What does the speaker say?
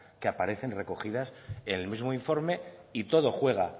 que aparecen recogidas en el mismo informe y todo juega